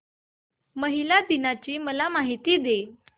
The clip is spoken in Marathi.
महिला दिन ची मला माहिती दे